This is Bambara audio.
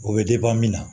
O bɛ min na